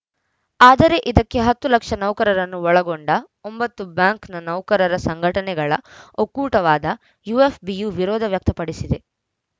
ಆದರೆ ಇದಕ್ಕೆ ಹತ್ತು ಲಕ್ಷ ನೌಕರರನ್ನು ಒಳಗೊಂಡ ಒಂಬತ್ತು ಬ್ಯಾಂಕ್‌ ನೌಕರರ ಸಂಘಟನೆಗಳ ಒಕ್ಕೂಟವಾದ ಯುಎಫ್‌ಬಿಯು ವಿರೋಧ ವ್ಯಕ್ತಪಡಿಸಿದೆ